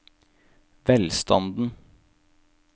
velstanden